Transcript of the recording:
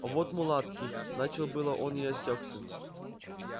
а вот мулатки начал было он и осёкся